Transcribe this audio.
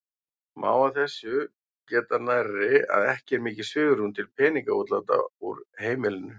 Má af þessu geta nærri að ekki er mikið svigrúm til peningaútláta úr heimilinu.